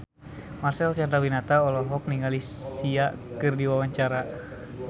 Marcel Chandrawinata olohok ningali Sia keur diwawancara